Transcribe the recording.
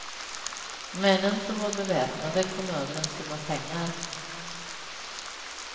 Männen som var beväpnade kom över en summa pengar.